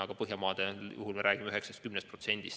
Aga Põhjamaade puhul me räägime 9–10%.